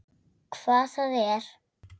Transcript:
Hvað það er?